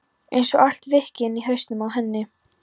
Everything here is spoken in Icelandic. Einsog allt víkki inni í hausnum á henni.